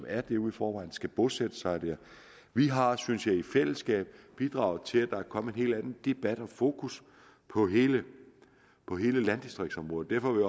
er derude i forvejen skal bosætte sig dér vi har synes jeg i fællesskab bidraget til at der er kommet en helt anden debat og fokus på hele landdistriktområdet derfor vil